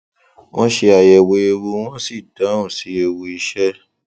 wón ṣe àyẹwò ewu wón sì dáhùn sí ewu iṣẹ